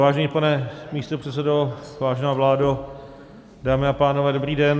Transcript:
Vážený pane místopředsedo, vážená vládo, dámy a pánové, dobrý den.